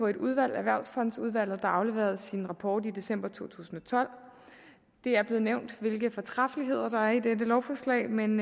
et udvalg erhvervsfondsudvalget der afleverede sin rapport i december to tusind og tolv det er blevet nævnt hvilke fortræffeligheder der er i dette lovforslag men